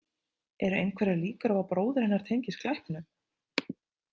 Eru einhverjar líkur á að bróðir hennar tengist glæpnum?